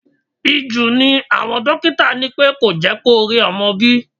Ìju ni àwọn dókítà ní pẹ́ kò jẹ́ kó rí ọmọ bí.